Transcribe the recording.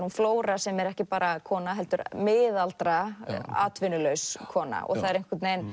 hún flóra sem er ekki bara kona heldur miðaldra atvinnulaus kona þær